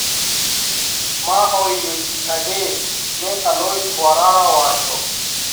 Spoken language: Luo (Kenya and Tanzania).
Ma ohinyo ji adek, ne Alois Mbwarara owacho